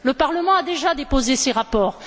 Le Parlement a déjà déposé ses rapports.